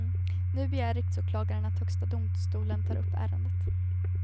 Nu begär riksåklagaren att högsta domstolen tar upp ärendet.